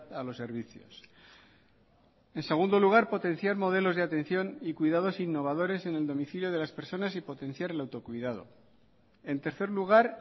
a los servicios en segundo lugar potenciar modelos de atención y cuidados innovadores en el domicilio de las personas y potenciar el autocuidado en tercer lugar